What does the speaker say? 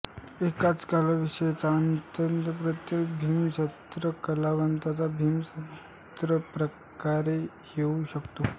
एकाच कलाविषयाचा अंतःप्रत्यय भिन्नभिन्न कलावंतांना भिन्नभिन्न प्रकारे येऊ शकतो